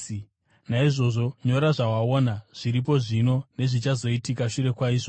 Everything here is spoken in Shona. “Naizvozvo, nyora zvawaona, zviripo zvino nezvichazoitika shure kwaizvozvi.